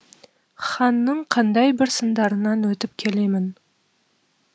ханның қандай бір сындарынан өтіп келемін